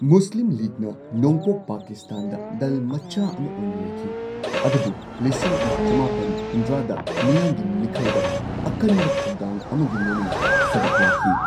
ꯃꯨꯁꯂꯤꯝ ꯂꯤꯒꯅ ꯅꯣꯡꯄꯣꯛ ꯄꯥꯀꯤꯁꯇꯥꯟꯗ ꯗꯜ ꯃꯆꯥ ꯑꯃ ꯑꯣꯏꯅ ꯂꯩꯈꯤ ꯑꯗꯨꯕꯨ ꯂꯤꯁꯤꯡ ꯑꯃ ꯆꯃꯥꯄꯟ ꯍꯨꯝꯗ꯭ꯔꯥꯗ ꯃꯤꯌꯥꯝꯒꯤ ꯃꯤꯪꯈꯜꯗ ꯑꯀꯟꯕ ꯊꯧꯅꯥ ꯑꯃꯒ ꯂꯣꯏꯅꯅ ꯁꯔꯨꯛ ꯌꯥꯈꯤ꯫